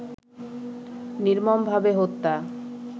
নির্মমভাবে হত্যা